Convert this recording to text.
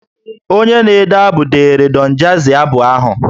Onye na-ede abụ deere Don jazzy abụ ahụ